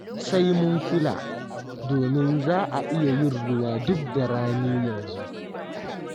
Sai mun kula, domin za a iya yin ruwa duk da rani yanzu.